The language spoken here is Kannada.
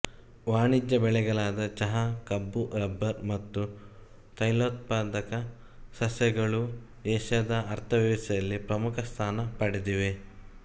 ವಾಣಿಜ್ಯ ಬೆಳೆಗಳಾದ ಚಹ ಕಬ್ಬು ರಬ್ಬರ್ ಮತ್ತು ತೈಲೋತ್ಪಾದಕ ಸಸ್ಯಗಳೂ ಏಷ್ಯದ ಅರ್ಥವ್ಯವಸ್ಥೆಯಲ್ಲಿ ಪ್ರಮುಖ ಸ್ಥಾನ ಪಡೆದಿವೆ